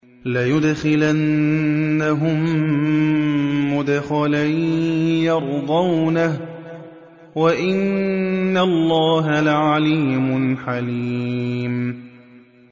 لَيُدْخِلَنَّهُم مُّدْخَلًا يَرْضَوْنَهُ ۗ وَإِنَّ اللَّهَ لَعَلِيمٌ حَلِيمٌ